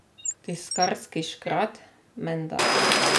Tiskarski škrat, menda.